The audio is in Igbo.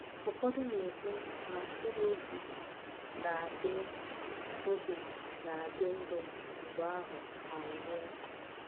Ụfọdụ na-ekwu na mkpụrụ obi na-adị obi na-adị ndụ mgbe ahụ anwụọ.